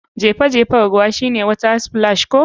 Jefe jefen ruwan shine water splash ko?